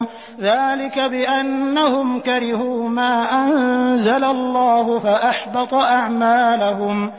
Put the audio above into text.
ذَٰلِكَ بِأَنَّهُمْ كَرِهُوا مَا أَنزَلَ اللَّهُ فَأَحْبَطَ أَعْمَالَهُمْ